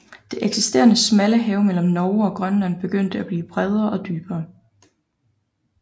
Det eksisterende smalle hav mellem Norge og Grønland begyndte at blive bredere og dybere